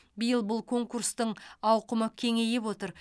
биыл бұл конкурстың ауқымы кеңейіп отыр